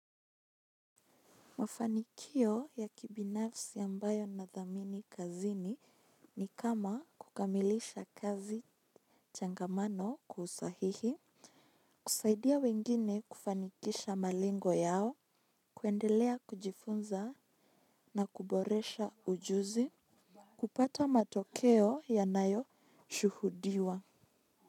Mafanikio ya kibinafsi ambayo ninadhamini kazini ni kama kukamilisha kazi changamano kwa usahihi. Kusaidia wengine kufanikisha malengo yao. Kuendelea kujifunza na kuboresha ujuzi. Kupata matokeo ya nayo shuhudiwa.